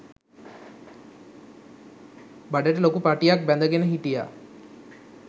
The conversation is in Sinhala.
බඩට ලොකු පටියක් බැඳගෙන හිටියා.